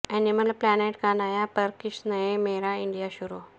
animal planet کا نیا پر کش نئے میرا انڈیا شروع